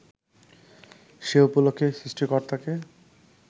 সে উপলক্ষে সৃষ্টিকর্তাকে